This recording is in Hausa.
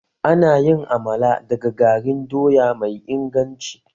Ana yin Amala daga garin doya mai inganci